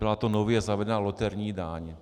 Byla to nově zavedená loterijní daň.